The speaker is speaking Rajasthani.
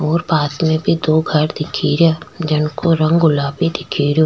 और पास में भी दो घर दिखे रिया जिनको रंग गुलाबी दिखे रो।